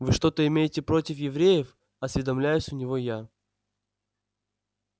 вы что-то имеете против евреев осведомляюсь у него я